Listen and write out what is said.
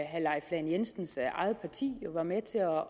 herre leif lahn jensens eget parti jo var med til at